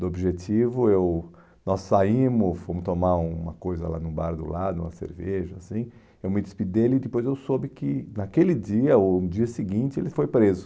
Do objetivo, eu, nós saímos, fomos tomar uma coisa lá no bar do lado, uma cerveja assim, eu me despedi dele e depois eu soube que naquele dia, ou no dia seguinte, ele foi preso.